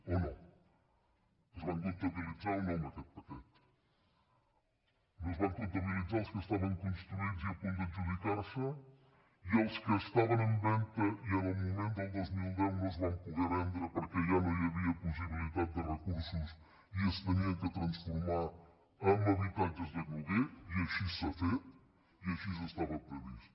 o no es van comptabilitzar o no en aquest paquet no es van comptabilitzar els que estaven construïts i a punt d’adjudicar se i els que estaven en venda i en el moment del dos mil deu no es van poder vendre perquè ja no hi havia possibilitat de recursos i s’havien de transformar en habitatges de lloguer i així s’ha fet i així estava previst